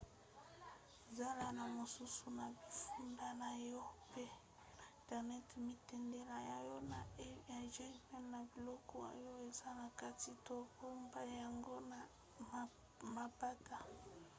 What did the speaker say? zala na mosusu na bifunda na yo mpe na internet mitindela yango na e-mail na biloko oyo eza na kati to bomba yango na mapata"